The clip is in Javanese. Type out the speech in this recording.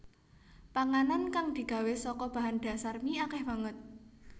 Panganan kang digawé saka bahan dhasar mie akèh banget